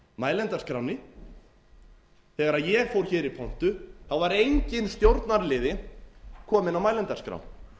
mælendaskránni þegar ég fór hér í pontu var enginn stjórnarliði kominn á mælendaskrá